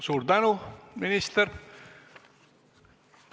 Suur tänu, minister!